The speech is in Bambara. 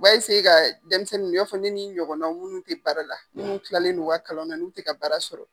U b'a ka denmisɛnnin i n'a fɔ ne ni ɲɔgɔnna minnu tɛ baara la, minnu tilalen u ka kalanw na n'u tɛ ka baara sɔrɔ.